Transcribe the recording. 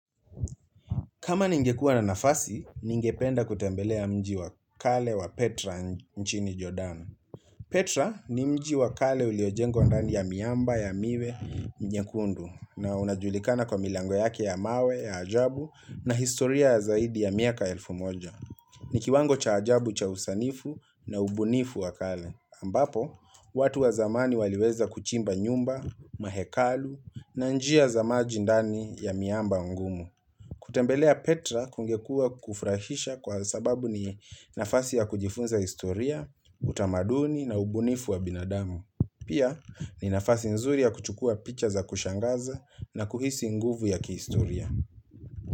Kama ningekua na nafasi, ningependa kutembelea mji wa kale wa Petra nchini jordano. Petra ni mji wa kale uliojengwa ndani ya miamba, ya miwe, nyekundu na unajulikana kwa milango yake ya mawe, ya ajabu na historia ya zaidi ya miaka elfu moja. Ni kiwango cha ajabu, cha usanifu na ubunifu wakale. Ambapo, watu wa zamani waliweza kuchimba nyumba, mahekalu na njia za maji ndani ya miamba ngumu. Kutembelea Petra kungekua kufurahisha kwa sababu ni nafasi ya kujifunza historia, utamaduni na ubunifu wa binadamu. Pia ni nafasi nzuri ya kuchukua picha za kushangaza na kuhisi nguvu ya kihistoria.